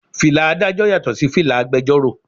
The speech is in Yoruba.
Fìlà Ádájọ́ yàtò sí fìlà agbẹjoro.